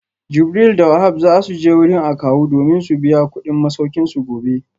Jibril da Wahab za su je wurin akawu domin su biya kudin masaukinsu gobe